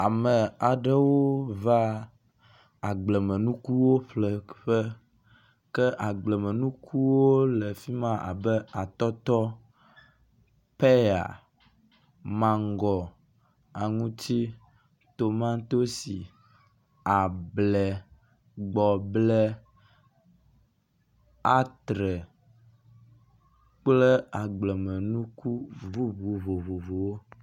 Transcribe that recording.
Ame aɖewo va agbleme nukuwo ƒleƒe ke agblemenukuwo le afi ma abe; atɔtɔ, peya, mago, aŋutsi, tomatosi, able, gbɔble, atre kple agblemenuku bubu vovovowo.